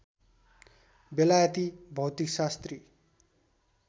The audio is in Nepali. बेलायती भौतिकशास्त्री